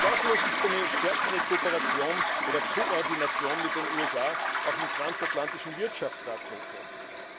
Zweifellos ist eine stärkere Kooperation oder Koordination mit den USA auch im Transatlantischen Wirtschaftsrat notwendig.